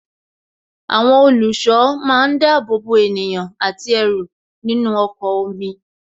Àwọn olùṣọ́ máa ń dábòbò ènìyàn àti ẹrù nínú ọkọ̀ omi